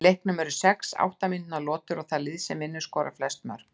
Í leiknum eru sex átta mínútna lotur og það lið vinnur sem skorar flest mörk.